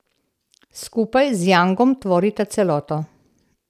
Skupaj z jangom tvorita celoto.